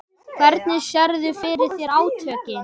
Hvernig sérðu fyrir þér átökin?